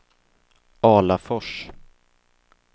Alafors